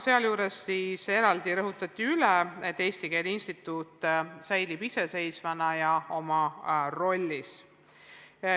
Sealjuures rõhutati eraldi üle, et Eesti Keele Instituut säilib iseseisvana ja oma rollis.